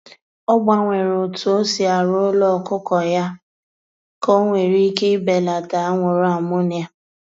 Ọ gbanwere otu osi arụ ụlọ ọkụkọ ya ka o nwere ike ibelata anwụrụ ammonia